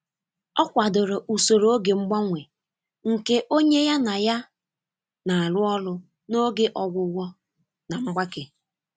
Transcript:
Ọ kwadoro usoro oge mgbanwe nke onye ya na ya na-arụ ọrụ n’oge ọgwụgwọ na mgbake.